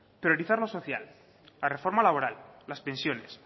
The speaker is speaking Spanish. priorizar lo social la reforma laboral las pensiones